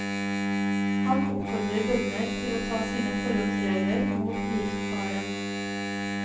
Han oppfordrer bønder til å ta sine forholdsregler mot giftfaren.